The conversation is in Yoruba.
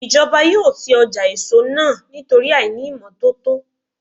Ìjọba yóò ti ọjà èso náà nítorí àìní ìmọ́tótó.